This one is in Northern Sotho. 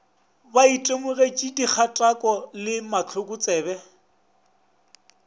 ba itemogetšego dikgatako le mahlokotsebe